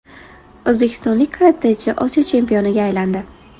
O‘zbekistonlik karatechi Osiyo chempioniga aylandi.